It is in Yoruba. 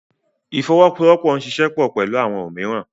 Ifowosowopo n ṣiṣẹ pọ pẹlu awọn omiiran.